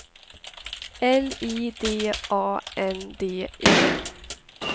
L I D A N D E